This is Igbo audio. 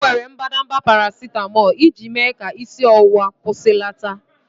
M were mbadamba paracetamol iji mee ka isi ọwụwa kwụsịlata.